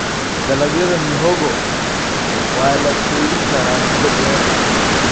Dalagyada mihogo waa la keydin karaa muddo dheer.